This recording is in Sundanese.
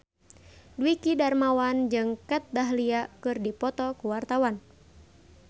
Dwiki Darmawan jeung Kat Dahlia keur dipoto ku wartawan